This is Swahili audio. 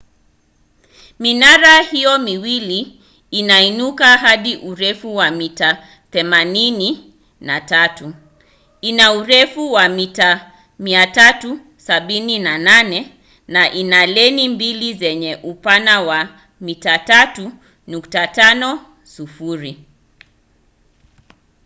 minara hiyo miwili inainuka hadi urefu wa mita 83 ina urefu wa mita 378 na ina leni mbili zenye upana wa mita 3.50